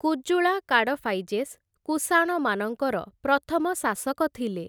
କୁଜୁଳା କାଡ଼ଫାଇଜେସ୍ କୁଷାଣମାନଙ୍କର ପ୍ରଥମ ଶାସକ ଥିଲେ ।